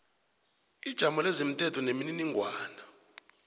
ijamo lezomthetho nemininingwana